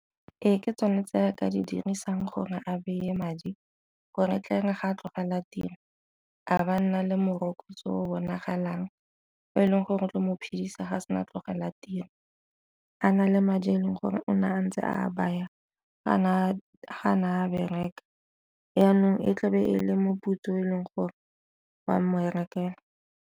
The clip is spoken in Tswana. Ee, ke tsone tse re ka di dirisang gore a beye madi gore tle re ga a tlogela tiro ga ba nna le morokotso o bonagalang o e leng gore tlo mo phedisa ga se na a tlogela tiro, a na le madi a e leng gore ona a ntse a baya ga ne a bereka. Jaanong e tlabe e le moputso o e leng gore wa mmerekela.